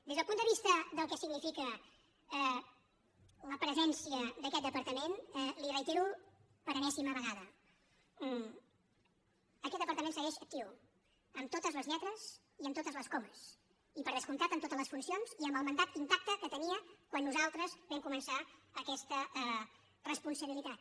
des del punt de vista del que significa la presència d’aquest departament li ho reitero per enèsima vegada aquest departament segueix actiu amb totes les lletres i amb totes les comes i per descomptat amb totes les funcions i amb el mandat intacte que tenia quan nosaltres vam començar aquesta responsabilitat